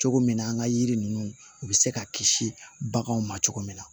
Cogo min na an ka yiri ninnu u bɛ se ka kisi baganw ma cogo min na